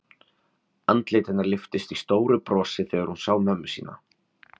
Andlit hennar lyftist í stóru brosi þegar hún sá mömmu sína.